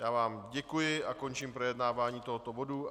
Já vám děkuji a končím projednávání tohoto bodu.